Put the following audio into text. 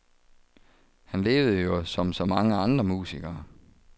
Han levede jo som så mange andre musikere.